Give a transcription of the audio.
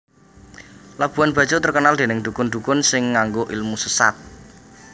Labuhan Bajo terkenal dening dukun dukun sing nganggo ilmu sesat